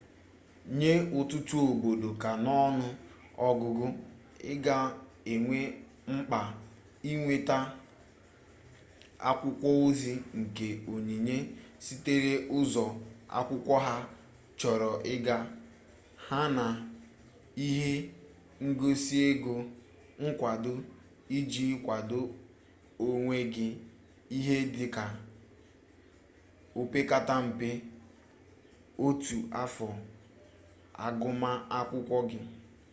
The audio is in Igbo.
nye ututu obodo ka n'onu-ogugu iga enwe mkpa inweta akwukwo-ozi nke onyinye sitere ulo-akwukwo ha choro iga ya na ihe ngosi ego nkwado iji kwadoo onwe gi ihe dika opekata mpe otu afo aguma akwukwo gi